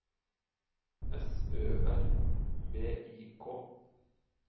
S Ø R V I K